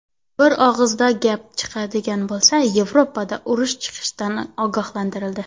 Bir og‘iz gap chiqadigan bo‘lsa, Yevropada urush chiqishidan ogohlantirildi.